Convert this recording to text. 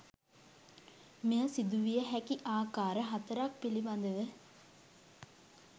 මෙය සිදුවිය හැකි ආකාර හතරක් පිළිබඳව